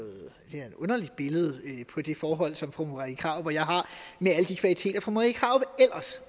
er et underligt billede på det forhold som fru marie krarup og jeg har med alle de kvaliteter fru marie krarup ellers